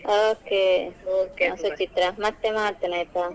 Okay Suchitra ಮತ್ತೆ ಮಾಡ್ತೇನೆ ಆಯ್ತಾ.